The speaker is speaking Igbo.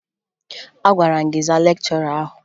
Agwara m gị zaa lekchọra ahụ!